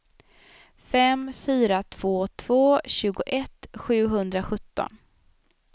fem fyra två två tjugoett sjuhundrasjutton